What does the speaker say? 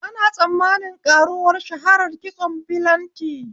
Ana tsammanin ƙaruwar shaharar kitson bilanti